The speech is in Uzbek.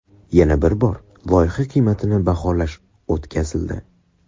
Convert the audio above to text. Yana bir bor loyiha qiymatini baholash o‘tkazildi.